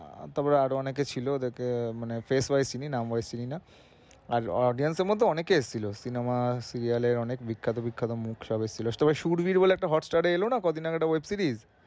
তারপর আরো অনেকে ছিলো like মানে face wise চিনি, নাম wise চিনিনা। আর audience এর মধ্যে অনেকে এসছিলো cinema র serial এর অনেক বিখ্যাত বিখ্যাত মুখ সব ছিলো তবে সুরভীর বলে একটা hotstar এ এনোলা কয়দিন আগে একটা web series